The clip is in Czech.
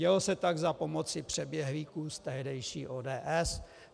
Dělo se tak za pomoci přeběhlíků z tehdejší ODS.